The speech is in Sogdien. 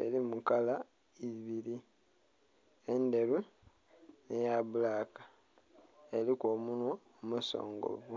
erimu kala ibiri endheru nhe ya bbulaka eriku omunhwa omusongovu.